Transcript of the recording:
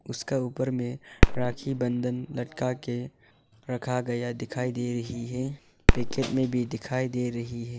उसका ऊपर में राखी बंधन लटका के रखा गया दिखाई दे रही हैं पैकेट में भी दिखाई दे रही हैं।